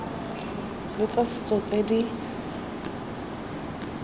le tsa setso tse di